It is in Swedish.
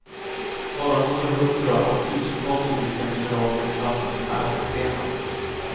Bara några hundra av tusentals olika mineraler klassas som ädelstenar.